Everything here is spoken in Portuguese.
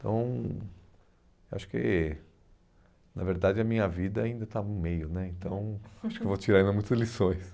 então, acho que, na verdade, a minha vida ainda está no meio né, então acho que vou tirar ainda muitas lições.